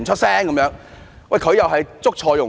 他確實是"捉錯用神"。